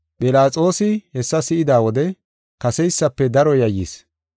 Philaxoosi hessa si7ida wode kaseysafe daro yayyis.